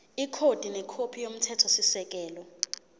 ikhophi nekhophi yomthethosisekelo